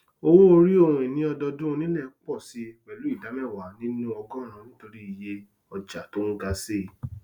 owóòrí ohunini ọdọdún onílẹ pọ síi pẹlú ìdá mẹwàá nínú ọgọọrún nítorí ìye ọjà tó ń ga síi